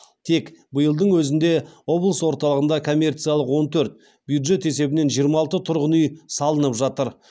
тек биылдың өзінде облыс орталығында коммерциялық он төрт бюджет есебінен жиырма алты тұрғын үй салынып жатыр